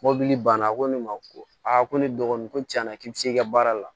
Mɔbili banna ko ne ma ko ko ne dɔgɔnin ko tiɲɛna k'i bi se ka baara la